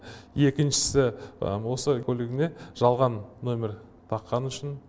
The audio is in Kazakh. екіншісі осы көлігіне жалған номер таққаны үшін